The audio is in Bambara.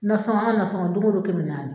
Nasɔngɔ an ka nasɔngɔ don go don kɛmɛ naani